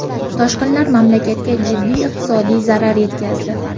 Toshqinlar mamlakatga jiddiy iqtisodiy zarar yetkazdi.